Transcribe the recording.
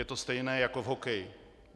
Je to stejné jako v hokeji.